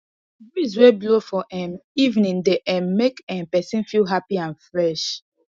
breeze wey blow for um evening dey um make um person feel happy and fresh